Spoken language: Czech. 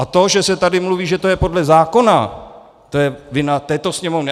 A to, že se tady mluví, že to je podle zákona, to je vina této Sněmovny.